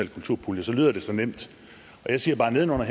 kulturpuljer lyder det så nemt og jeg siger bare at nedenunder